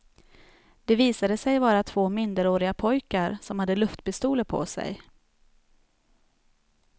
Det visade sig vara två minderåriga pojkar som hade luftpistoler på sig.